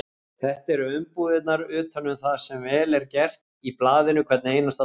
Þetta eru umbúðirnar utan um það sem vel er gert í blaðinu hvern einasta dag.